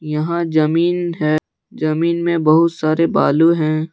यहां जमीन है जमीन में बहुत सारे बालू हैं।